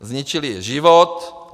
Zničili jí život.